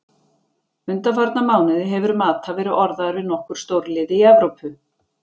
Undanfarna mánuði hefur Mata verið orðaður við nokkur stórlið í Evrópu.